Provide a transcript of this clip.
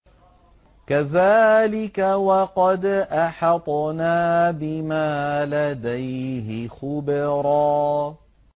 كَذَٰلِكَ وَقَدْ أَحَطْنَا بِمَا لَدَيْهِ خُبْرًا